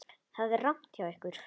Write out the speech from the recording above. Það er rangt hjá ykkur.